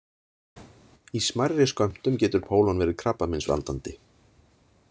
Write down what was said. Í smærri skömmtum getur pólon verið krabbameinsvaldandi.